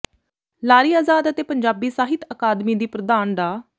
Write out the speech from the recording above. ਲਾਰੀ ਆਜ਼ਾਦ ਅਤੇ ਪੰਜਾਬੀ ਸਾਹਿਤ ਅਕਾਦਮੀ ਦੀ ਪ੍ਰਧਾਨ ਡਾ